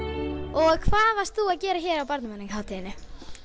og hvað varst þú að gera hér á Barnamenningarhátíðinni